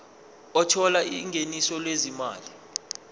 othola ingeniso lezimali